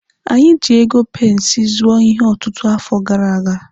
Anyị ji ego pensi zụọ ihe ọtụtụ afọ gara aga.